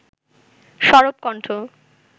সরব কণ্ঠ